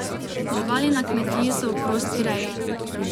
Živali na kmetiji so v prosti reji.